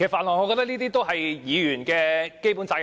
我覺得這也是議員的基本責任。